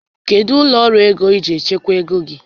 Kedụ ụlọ ọrụ ego iji echekwa ego gị?